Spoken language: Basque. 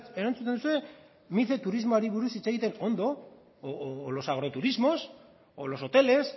erantzuten duzue mice turismoari buruz hitz egiten ondo o los agroturismos o los hoteles